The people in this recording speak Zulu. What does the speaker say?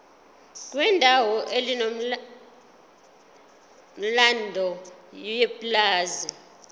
kwendawo enomlando yepulazi